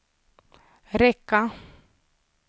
räcka